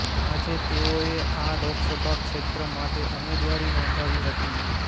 આજે તેઓએ આ લોકસભા ક્ષેત્ર માટે ઉમેદવારી નોંધાવી હતી